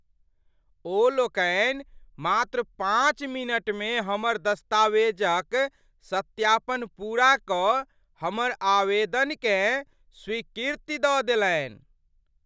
ओ लोकनि मात्र पाँच मिनटमे हमर दस्तावेजक सत्यापन पूरा कऽ हमर आवेदनकेँ स्वीकृति दऽ देलनि!